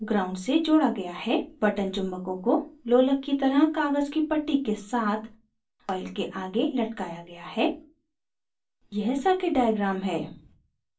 button चुम्बकों को लोलक की तरह कागज़ की पट्टी के साथ coil के आगे लटकाया गया है यह circuit diagram है